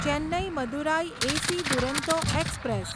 Chennai Madurai AC Duronto express